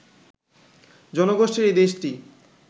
জনগোষ্ঠীর এই দেশটি